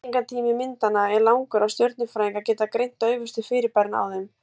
lýsingartími myndanna er langur og stjörnufræðingar geta greint daufustu fyrirbærin á þeim